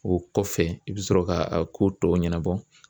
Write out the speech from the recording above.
O kɔfɛ i bɛ sɔrɔ ka a ko tɔw ɲɛnabɔ